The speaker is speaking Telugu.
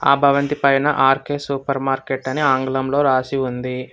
ఆ భవంతి పైన ఆర్ కె సూపర్ మార్కెట్ అని ఆంగ్లంలో రాసి ఉంది.